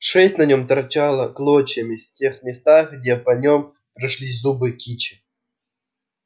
шесть на нём торчала клочьями в тех местах где по нём прошлись зубы кичи